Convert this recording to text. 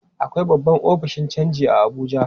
Akwai babban ofishin canji a Abuja.